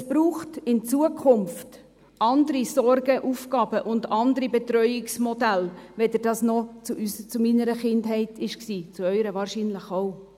Es braucht in Zukunft andere Sorge-Aufgaben und andere Betreuungsmodelle, als dies während meiner Kindheit der Fall war – und während Ihrer Kindheit wahrscheinlich auch.